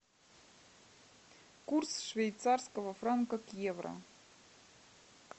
курс швейцарского франка к евро